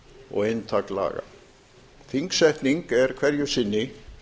og inntak laga þingsetning er hverju sinni